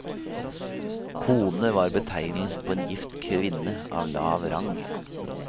Kone var betegnelsen på en gift kvinne av lav rang.